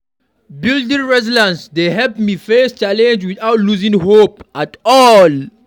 Building resilience dey help me face challenges without losing hope at all.